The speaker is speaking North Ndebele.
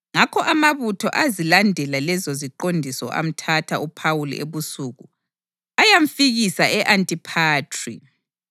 Ngakho amabutho azilandela lezo ziqondiso amthatha uPhawuli ebusuku ayamfikisa e-Antiphatri.